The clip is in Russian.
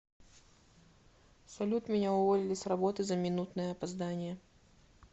салют меня уволили с работы за минутное опоздание